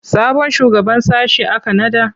Sabon shugaban sashe aka naɗa?